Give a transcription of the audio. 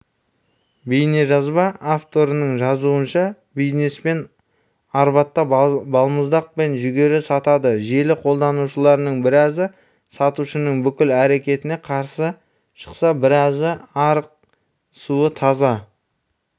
бейнежазба авторының жазуынша бизнесмен арбатта балмұздақ пен жүгері сатады желі қолданушыларының біразы сатушының бұл әрекетіне қарсы шықса біразы арық суы таза